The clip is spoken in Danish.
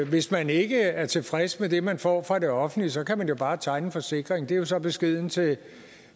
hvis man ikke er tilfreds med det man får fra det offentlige så kan man jo bare tegne en forsikring det er så beskeden til